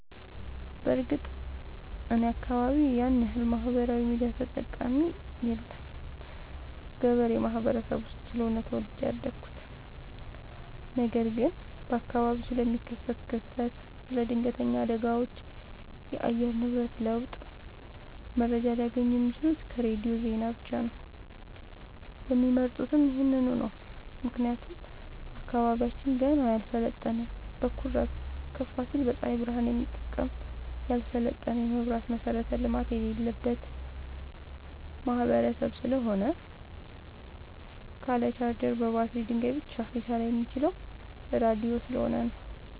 በርግጥ እኔ አካባቢ ያንያክል ማህበራዊ ሚዲያ ተጠቀሚ የለም ገበሬ ማህበረሰብ ውስጥ ስለሆነ ተወልጄ ያደኩት ነገር ግን በአካባቢው ስለሚከሰት ክስተት ስለ ድነገተኛ አደጋዎች የአየር ንብረት ለውጥ መረጃ ሊያገኙ የሚችሉት ከሬዲዮ ዜና ብቻ ነው የሚመርጡትም ይህንኑ ነው ምክንያቱም አካባቢያችን ገና ያልሰለጠነ በኩራዝ ከፋሲል በፀሀይ ብረሃን የሚጠቀም ያልሰለጠነ የመብራት መሠረተ ልማት የሌለበት ማህበረሰብ ስለሆነ ካለ ቻርጀር በባትሪ ድንጋይ ብቻ ሊሰራ የሚችለው ራዲዮ ስለሆነ ነው።